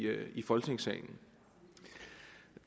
folketingssalen